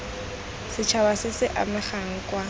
setšhaba se se amegang kwa